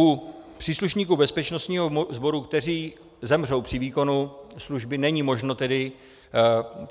U příslušníků bezpečnostních sborů, kteří zemřou při výkonu služby, není možno tedy